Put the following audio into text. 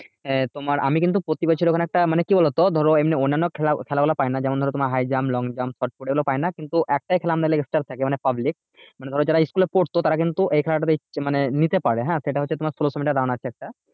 আহ তোমার আমি কিন্তু প্রতি বছর ওখানে একটা মানে কি বলতো ধরো এমনি অন্যান্য খেলা খেলাগুলো পাইনা যেমন ধরো তোমার high jump, long jump, shotput এগুলো পাইনা কিন্তু একটাই খেলা মানে public মানে ধরো যারা school এ পড়তো তার কিন্তু এই খেলাটা তেই মানে নিতে পারে হ্যাঁ সেটা হচ্ছে তোমার ষোলোশো metre run আছে একটা